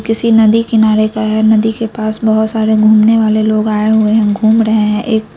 किसी नदी किनारे का है नदी के पास बहुत सारे घूमने वाले लोग आये हुए हैं घूम रहे हैं एक --